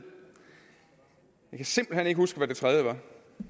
simpelt hen ikke huske hvad det tredje var